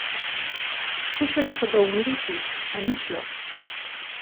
Skušali so ga umiriti, a ni šlo.